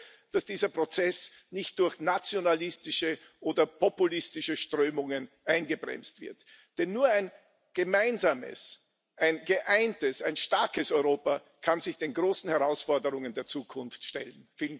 Ich hoffe, dass dieser Prozess nicht durch nationalistische oder populistische Strömungen eingebremst wird, denn nur ein gemeinsames, ein geeintes, ein starkes Europa kann sich den großen Herausforderungen der Zukunft stellen.